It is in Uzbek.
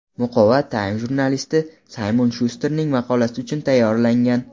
Muqova Time jurnalisti Saymon Shusterning maqolasi uchun tayyorlangan.